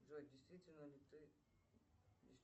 джой действительно ли ты